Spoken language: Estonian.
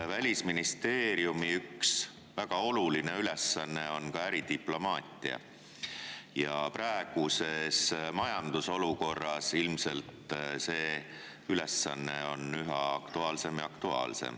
Välisministeeriumi üks väga oluline ülesanne on ka äridiplomaatia ja praeguses majandusolukorras on see ülesanne üha aktuaalsem ja aktuaalsem.